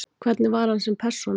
Hvernig var hann sem persóna?